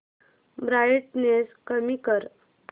brightness कमी कर